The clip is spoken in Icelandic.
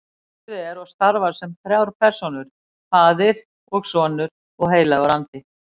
Guð er og starfar sem þrjár persónur, faðir og sonur og heilagur andi.